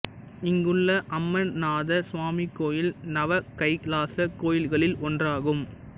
இங்குள்ள அம்மநாத சுவாமி கோயில் நவ கைலாசக் கோயில்களில் ஒன்றாகும்